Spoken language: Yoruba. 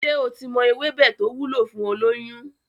Ṣé o ti mọ ewébẹ̀ to wúlò fún olóyún?